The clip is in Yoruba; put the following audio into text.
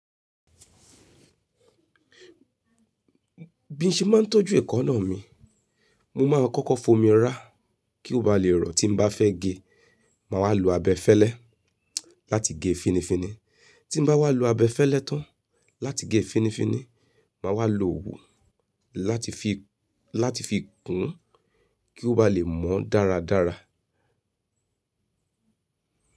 Bí n ṣe máa ń tọ́jú ẹ̀kọ́náà mi, mo máa ń kọ́kọ́ fomi rá kí ó ba lè rọ̀ tí n bá fẹ́ gé, màá wá lo abẹfẹ́lẹ́ láti gé finifini. Tí n bá wá lo abẹfẹ́lẹ́ tán láti gé finifini, màá wá lo ogún láti fi, láti fi kún kí ó ba lè mọ́ dáradára.